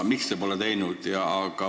Miks te pole seda teinud?